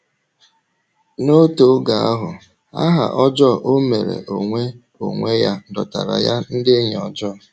N’otu oge ahụ, aha ọjọọ ọ mere onwe onwe ya dọtaara ya ndị enyi ọjọọ.